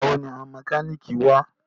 Nígbàwo ni àwọn mọ́kálíkì wá?